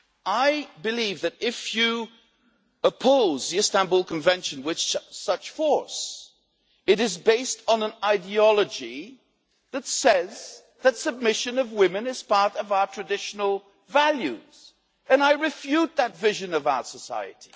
I believe that if you oppose the Istanbul Convention with such force, it is based on an ideology that says that submission of women is part of our traditional values, and I refute that vision of our society.